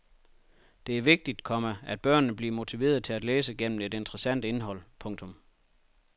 Det er vigtigt, komma at børnene bliver motiveret til at læse gennem et interessant indhold. punktum